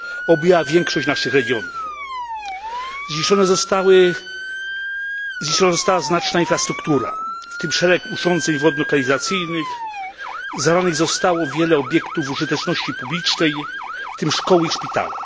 Objęła większość naszych regionów. Zniszczone została znaczna infrastruktura, w tym szereg urządzeń wodno kanalizacyjnych, zalanych zostało wiele obiektów użyteczności publicznej, w tym szkoły i szpitale.